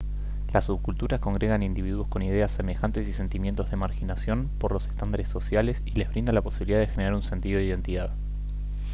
las subculturas congregan individuos con ideas semejantes y sentimientos de marginación por los estándares sociales y les brinda la posibilidad de generar un sentido de identidad